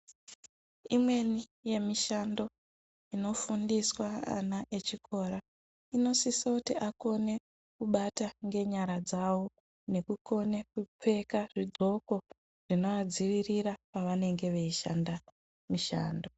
Imweni yemishando unofundiswa ana echikora inosisa kuti akone kubata ngenyara dzawo nekukone kupfeka zvidxoko zvinovadzivirira pavanenge zveishanda mishando.